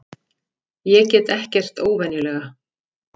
Ég get ekkert óvenjulega.